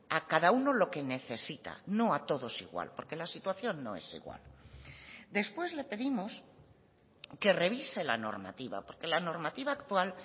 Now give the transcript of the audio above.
a cada uno lo que necesita no a todos igual porque la situación no es igual después le pedimos que revise la normativa porque la normativa actual